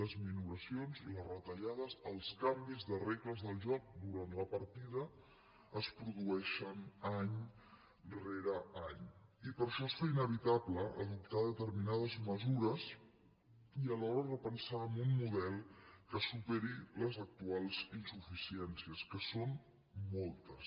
les minoracions les retallades els canvis de regles del joc durant la partida es produeixen any rere any i per això es fa inevitable adoptar determinades mesures i alhora repensar un model que superi les actuals insuficiències que són moltes